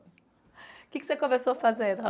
O que que você começou a fazer?